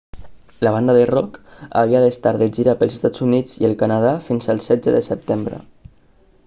la banda de rock havia d'estar de gira pels estats units i el canadà fins al 16 de setembre